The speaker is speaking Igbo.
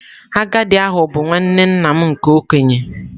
Agadi ahu bu nwanne nna m nke okenye.